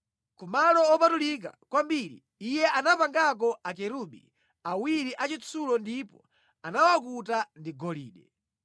Ku Malo Opatulika Kwambiri iye anapangako Akerubi awiri achitsulo ndipo anawakuta ndi golide.